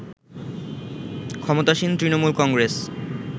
ক্ষমতাসীন তৃণমূল কংগ্রেস